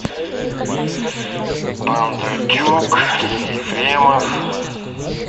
бондарчук ефремов